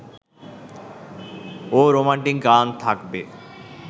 ও romantic গান থাকবে